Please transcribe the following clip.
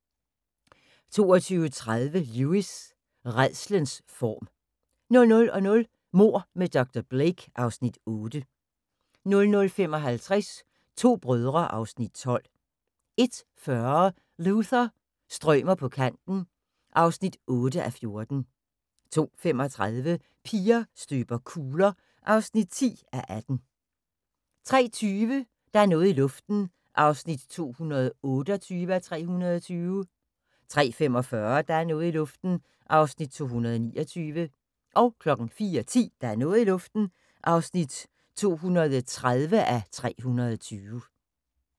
22:30: Lewis: Rædslens form 00:00: Mord med dr. Blake (Afs. 8) 00:55: To brødre (Afs. 12) 01:40: Luther – strømer på kanten (8:14) 02:35: Piger støber kugler (10:18) 03:20: Der er noget i luften (228:320) 03:45: Der er noget i luften (229:320) 04:10: Der er noget i luften (230:320)